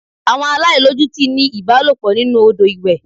Àwọn aláìlójútì ń ní ìbálòpọ̀ nínú Odò ìwẹ̀.